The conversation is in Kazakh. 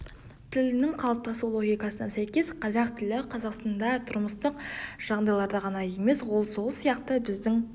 тілінің қалыптасу логикасына сәйкес қазақ тілі қазақстанда тұрмыстық жағдайларда ғана емес ол сол сияқты біздің